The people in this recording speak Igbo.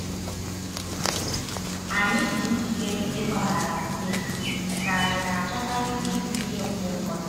Ànyị ' dị njikere ịgbaghara mmehie ,' ka ànyị na-achọkarị ibu iwe mgbe ụfọdụ?